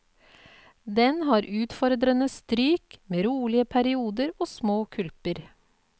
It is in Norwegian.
Den har utfordrende stryk med rolige perioder og små kulper.